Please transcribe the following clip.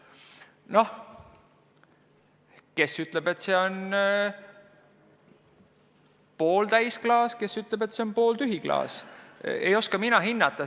Noh, kes ütleb, et see on pooltäis klaas, kes ütleb, et see on pooltühi klaas – ei oska mina hinnata.